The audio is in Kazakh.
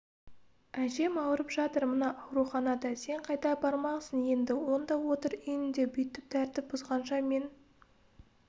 әжем ауырып жатыр мына ауруханада сен қайда бармақсың енді онда отыр үйіңде бүйтіп тәртіп бұзғанша мен